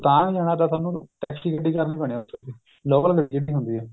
ਰੋਹਤਾਂਗ ਜਾਣਾ ਤਾਂ ਥੋਨੂ taxi ਗੱਡੀ ਕਰਨੀ ਪੈਣੀ ਹੈ local ਮਿਲ ਜਾਂਦੀ ਹੁੰਦੀ ਹੈ